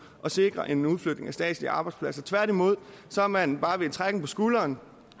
at sikre en udflytning af statslige arbejdspladser tværtimod har man bare med en trækken på skulderen